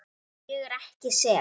Ég er ekki sek.